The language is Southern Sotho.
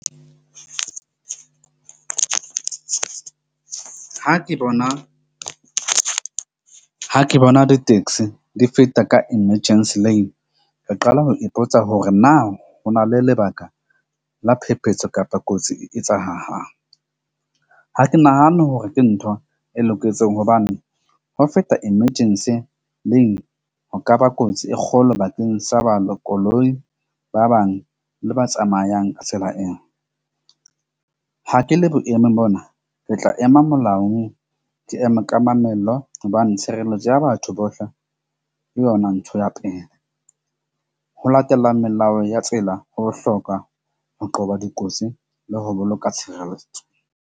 Ha ke bona le taxi di feta ka emergency lane. Re qala ho ipotsa hore na ho na le lebaka la phephetso kapa kotsi e etsa hanghang. Ha ke nahane hore ke ntho e loketseng hobane ho feta emergency lane ho kaba kotsi e kgolo bakeng sa , koloi, ba bang le ba tsamayang ka tsela eo. Ha ke le boemong bona, ke tla ema molao, ke eme ka mamello hobane tshireletso ya batho bohle ke yona ntho ya pele. Ho latela melao ya tsela ho bohlokwa ho qoba dikotsi le ho boloka tshireletso.